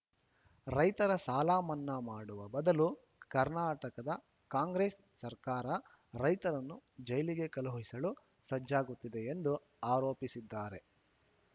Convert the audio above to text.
ರೈತರ ಸಾಲ ಮನ್ನಾ ಮಾಡುವ ಬದಲು ಕರ್ನಾಟಕದ ಕಾಂಗ್ರೆಸ್‌ ಸರ್ಕಾರ ರೈತರನ್ನು ಜೈಲಿಗೆ ಕಳುಹಿಸಲು ಸಜ್ಜಾಗುತ್ತಿದೆ ಎಂದು ಆರೋಪಿಸಿದ್ದಾರೆ